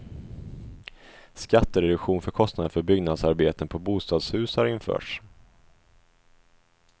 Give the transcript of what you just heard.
Skattereduktion för kostnader för byggnadsarbeten på bostadshus har införts.